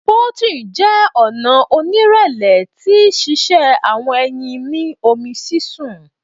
poaching jẹ ọna onirẹlẹ ti sise awọn eyin ni omi sisun